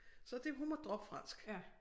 Så det hun måtte droppe fransk